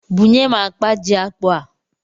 Bunye m akpa ji akpụ a!